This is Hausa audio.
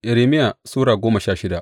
Irmiya Sura goma sha shida